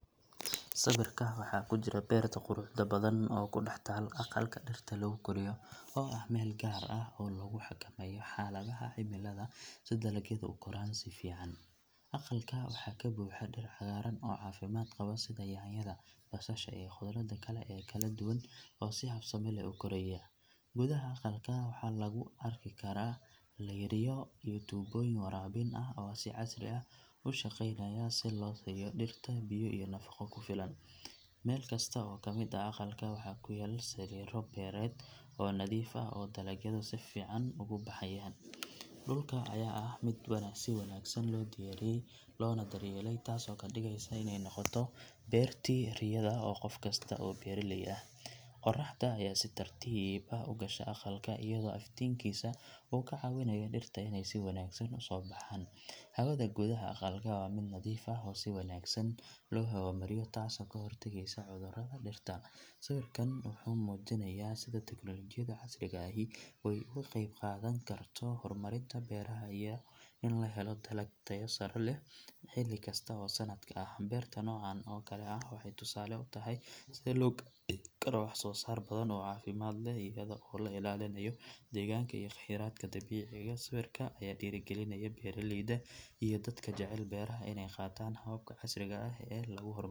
Sawirka waxaa ku jira beerta quruxda badan oo ku dhex taal aqalka dhirta lagu koriyo oo ah meel gaar ah oo lagu xakameeyo xaaladaha cimilada si dalagyadu u koraan si fiican. Aqalka waxaa ka buuxa dhir cagaaran oo caafimaad qaba sida yaanyada, basasha, iyo khudradda kale ee kala duwan oo si habsami leh u koraya. Gudaha aqalka waxaa lagu arki karaa laydhyo iyo tuubooyin waraabin ah oo si casri ah u shaqeynaya si loo siiyo dhirta biyo iyo nafaqo ku filan. Meel kasta oo ka mid ah aqalka waxaa ku yaal sariiro beereed oo nadiif ah oo dalagyadu si fiican ugu baxayaan. Dhulka ayaa ah mid si wanaagsan loo diyaariyey loona daryeelay, taasoo ka dhigaysa inay noqoto beertii riyada ee qof kasta oo beeraley ah. Qorraxda ayaa si tartiib ah u gasha aqalka iyadoo iftiinkaasi uu ka caawinayo dhirta inay si wanaagsan u soo baxaan. Hawada gudaha aqalka waa mid nadiif ah oo si wanaagsan loo hawo mariyo taasoo ka hortagaysa cudurrada dhirta. Sawirkan wuxuu muujinayaa sida teknoolajiyadda casriga ahi ay uga qayb qaadan karto horumarinta beeraha iyo in la helo dalag tayo sare leh xilli kasta oo sanadka ah. Beerta noocan oo kale ah waxay tusaale u tahay sida loo gaari karo wax soo saar badan oo caafimaad leh iyada oo la ilaalinayo deegaanka iyo kheyraadka dabiiciga ah. Sawirka ayaa dhiirrigelinaya beeraleyda iyo dadka jecel beeraha inay qaataan hababka casriga ah ee lagu horumar.